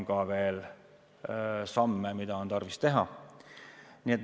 Aga on veel samme, mida on tarvis teha.